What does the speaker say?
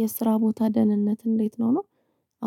የስራ ቦታ ደህንነት እንዴት ነው?